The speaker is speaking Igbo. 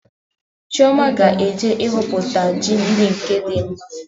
Chioma ga-eje ịhọpụta ji ndị nke dị mma